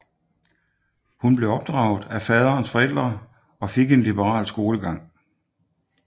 Hun blev opdraget af faderens forældre og fik en liberal skolegang